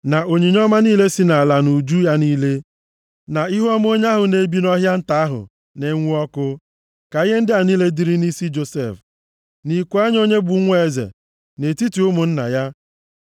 na onyinye ọma niile si nʼala na uju ya niile, na ihuọma onye ahụ na-ebi nʼọhịa nta ahụ na-enwu ọkụ. Ka ihe ndị a niile dịrị nʼisi Josef, nʼiku anya onye bụ nwa eze, nʼetiti ụmụnna ya.